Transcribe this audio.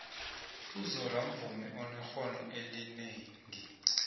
uzola mvumi onexhono elinengi